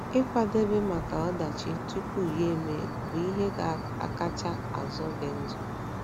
Ịkwadebe maka ọdachi tupu ya emee bụ ihe ga - akacha azọ gị ndụ